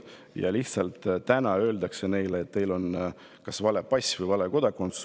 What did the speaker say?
Neile nüüd lihtsalt öeldakse, et neil on kas vale pass või vale kodakondsus.